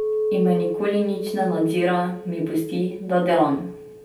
In me nikoli nič ne nadzira, mi pusti, da delam.